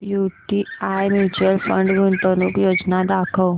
UTI mutual fund गुंतवणूक योजना दाखव